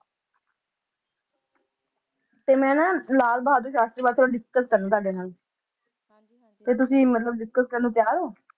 ਤੇ ਮੈਂ ਨਾ ਲਾਲ ਬਹਾਦਰ ਸ਼ਾਸਤਰੀ ਬਾਰੇ ਥੋੜ੍ਹਾ discuss ਕਰਨਾ ਤੁਹਾਡੇ ਨਾਲ ਤੇ ਤੁਸੀਂ ਮਤਲਬ discuss ਕਰਨ ਨੂੰ ਤਿਆਰ ਓ